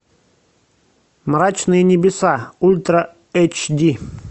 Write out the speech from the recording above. мрачные небеса ультра эйч ди